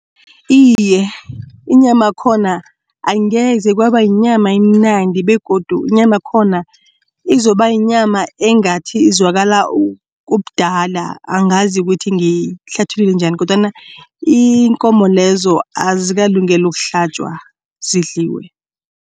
Iye, inyama yakhona angeze kwaba yinyama emnandi begodu inyama yakhona izoba yinyama engathi izwakala ubudala angazi ukuthi ngiyihlathulule njani kodwana iinkomo lezo azikalungeli ukuhlatjwa zidliwe.